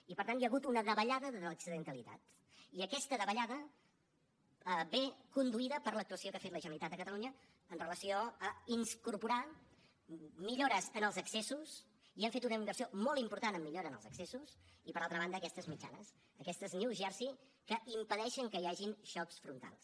i per tant hi ha hagut una davallada de l’accidentalitat i aquesta davallada ve conduïda per l’actuació que ha fet la generalitat de catalunya amb relació a incorporar millores en els accessos i hem fet una inversió molt important en millora en els accessos i per altra banda aquestes mitjanes aquestes new jersey que impedeixen que hi hagin xocs frontals